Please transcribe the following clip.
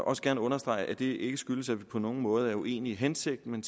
også gerne understrege at det ikke skyldes at vi på nogen måde er uenige i hensigten